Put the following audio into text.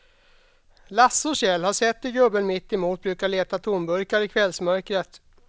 Lasse och Kjell har sett hur gubben mittemot brukar leta tomburkar i kvällsmörkret.